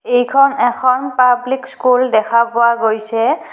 এইখন এখন public school দেখা পোৱা গৈছে .